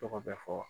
Tɔgɔ bɛ fɔ